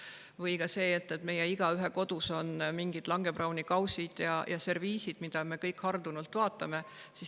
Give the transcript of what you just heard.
Või ka see, et igaühe kodus on mingid Langebrauni kausid ja serviisid, mida me kõik hardunult vaatame.